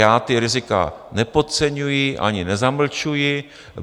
Já ta rizika nepodceňuji ani nezamlčuji.